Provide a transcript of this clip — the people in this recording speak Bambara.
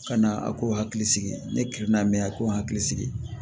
Ka na a k'o hakili sigi ne kilina me yan a k'o hakili sigi